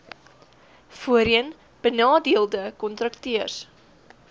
voorheen benadeelde kontrakteurs